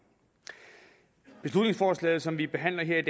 beslutningsforslaget som vi behandler her i